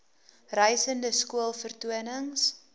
reisende skool vertonings